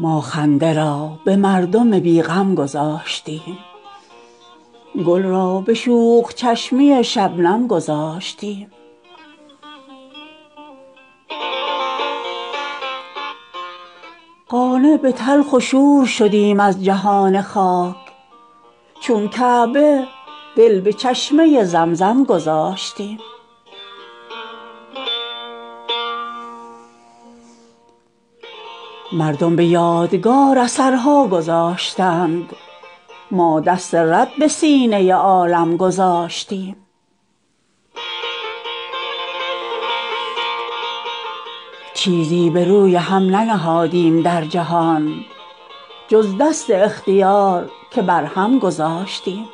ما خنده را به مردم بیغم گذاشتیم گل را به شوخ چشمی شبنم گذاشتیم قانع به تلخ و شور شدیم از جهان خاک چون کعبه دل به چشمه زمزم گذاشتیم مردم به یادگار اثرها گذاشتند ما دست رد به سینه عالم گذاشتیم چیزی به روی هم ننهادیم در جهان جز دست اختیار که بر هم گذاشتیم